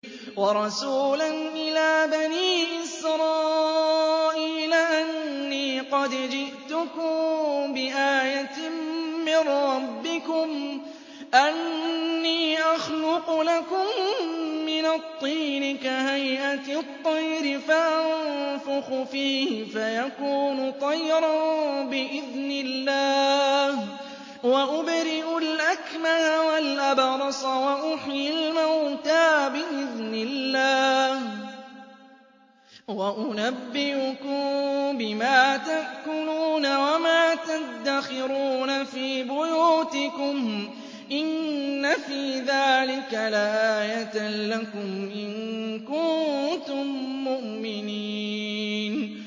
وَرَسُولًا إِلَىٰ بَنِي إِسْرَائِيلَ أَنِّي قَدْ جِئْتُكُم بِآيَةٍ مِّن رَّبِّكُمْ ۖ أَنِّي أَخْلُقُ لَكُم مِّنَ الطِّينِ كَهَيْئَةِ الطَّيْرِ فَأَنفُخُ فِيهِ فَيَكُونُ طَيْرًا بِإِذْنِ اللَّهِ ۖ وَأُبْرِئُ الْأَكْمَهَ وَالْأَبْرَصَ وَأُحْيِي الْمَوْتَىٰ بِإِذْنِ اللَّهِ ۖ وَأُنَبِّئُكُم بِمَا تَأْكُلُونَ وَمَا تَدَّخِرُونَ فِي بُيُوتِكُمْ ۚ إِنَّ فِي ذَٰلِكَ لَآيَةً لَّكُمْ إِن كُنتُم مُّؤْمِنِينَ